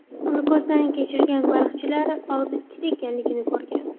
Uni ko‘zdan kechirgan baliqchilar og‘zi ikkita ekanligini ko‘rgan.